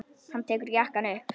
Hann tekur jakkann upp.